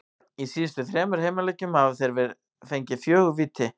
Í síðustu þremur heimaleikjum hafa þeir fengið fjögur víti.